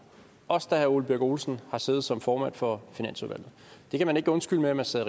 også da herre ole birk olesen sad som formand for finansudvalget det kan man ikke undskylde med at man sad